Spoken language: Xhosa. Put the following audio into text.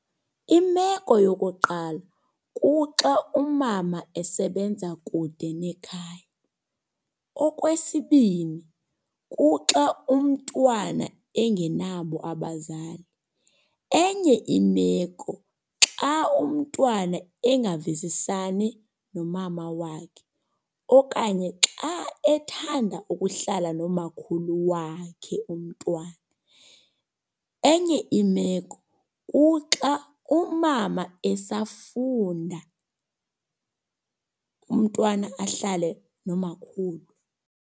Imeko yokuqala kuxa umama esebenza kude nekhaya. Okwesibini, kuxa umntwana engenabo abazali. Enye imeko xa umntwana engavisisani nomama wakhe okanye xa ethanda ukuhlala nomakhulu wakhe umntwana. Enye imeko kuxa umama esafunda, umntwana ahlale nomakhulu.